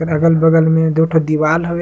अगल-बगल में दो ठो दिवाल हवे।